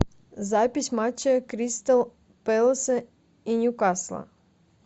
запись матча кристал пэласа и ньюкасла